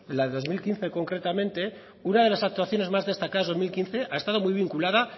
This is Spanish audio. la de dos mil quince concretamente una de las actuaciones más destacadas del dos mil quince ha estado muy vinculada